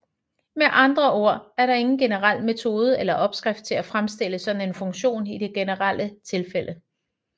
Med andre ord er der ingen generel metode eller opskrift til at fremstille sådan en funktion i det generelle tilfælde